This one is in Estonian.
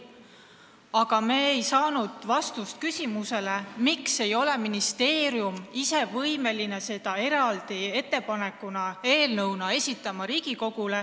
Aga me ei saanud vastust küsimusele, miks ei ole ministeerium olnud võimeline seda Riigikogule eraldi eelnõuna esitama.